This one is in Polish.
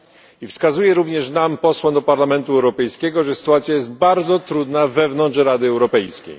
I wskazują również nam posłom do Parlamentu Europejskiego, że sytuacja jest bardzo trudna wewnątrz Rady Europejskiej.